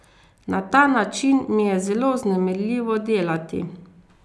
Na ta način mi je zelo vznemirljivo delati.